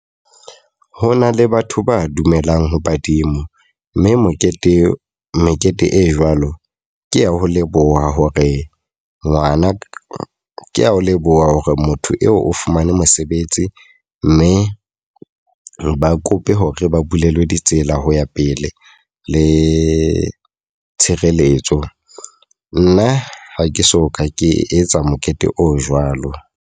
Ho na le batho ba dumelang ho badimo. Mme mokete, mekete e jwalo ke ya ho leboha hore ngwana ke a leboha hore motho eo o fumane mosebetsi. Mme ba kope hore ba bulelwe ditsela ho ya pele le tshireletso. Nna ha ke so ka ke etsa mokete o jwalo.